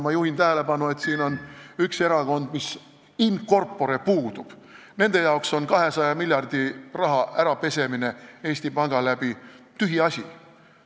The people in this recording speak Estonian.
Samas juhin tähelepanu, et on üks erakond, mis in corpore puudub – nende jaoks on 200 miljardi euro pesemine läbi Eesti panga tühiasi.